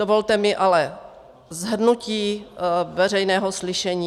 Dovolte mi ale shrnutí veřejného slyšení.